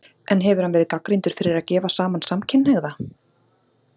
En hefur hann verið gagnrýndur fyrir að gefa saman samkynhneigða?